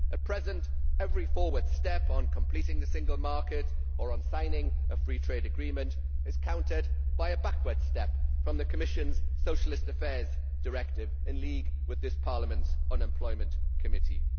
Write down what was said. At present every forward step on completing the single market or on signing a free trade agreement is countered by one backwards from the Commission's Socialist Affairs Directive in league with this Parliament's Unemployment Committee.